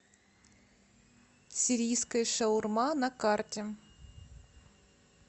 сирийская шаурма на карте